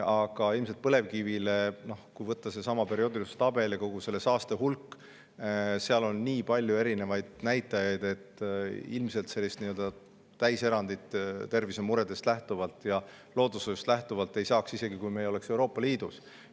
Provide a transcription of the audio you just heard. Aga ilmselt põlevkivile – kui võtta perioodilisuse tabel ja saaste hulk, siis seal on nii palju erinevaid näitajaid – sellist täiserandit tervisemuredest ja loodushoiust lähtuvalt ei saaks, isegi kui me ei oleks Euroopa Liidus.